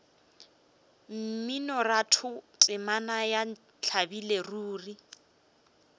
mminoratho temana ya ntlabile ruri